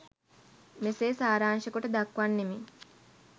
මෙසේ සාරාංශකොට දක්වන්නෙමි.